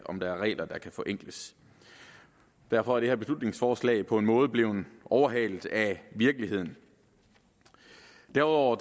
om der er regler der kan forenkles derfor er det her beslutningsforslag på en måde blevet overhalet af virkeligheden derudover